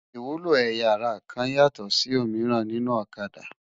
Iwúló ëyá àrá kán yátò si ómirán ninú Òkâdá